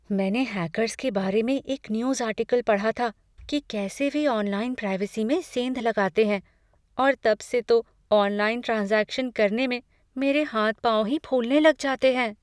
मैंने हैकर्स के बारे में एक न्यूज़ आर्टिकल पढ़ा था कि कैसे वे ऑनलाइन प्राइवेसी में सेंध लगाते हैं और तब से तो ऑनलाइन ट्रांज़ैक्शन करने में मेरे हाथ पाँव ही फूलने लग जाते हैं।